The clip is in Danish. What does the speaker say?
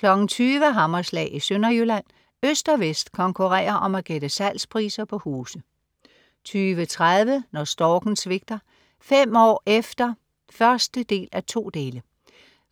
20.00 Hammerslag i Sønderjylland. Øst og vest konkurrerer om at gætte salgspriser på huse 20.30 Når storken svigter: Fem år efter 1:2.